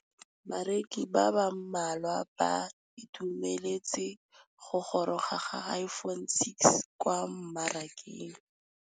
Bareki ba ba malwa ba ituemeletse go gôrôga ga Iphone6 kwa mmarakeng.